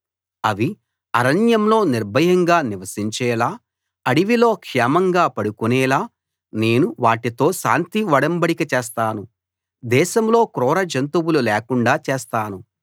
అవి అరణ్యంలో నిర్భయంగా నివసించేలా అడవిలో క్షేమంగా పడుకునేలా నేను వాటితో శాంతి ఒడంబడిక చేస్తాను దేశంలో క్రూర జంతువులు లేకుండా చేస్తాను